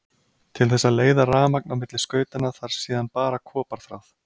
Til þess að leiða rafmagn á milli skautanna þarf síðan bara koparþráð.